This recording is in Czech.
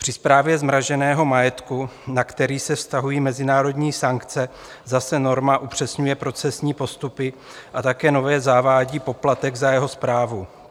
Při správě zmraženého majetku, na který se vztahují mezinárodní sankce, zase norma upřesňuje procesní postupy a také nově zavádí poplatek za jeho správu.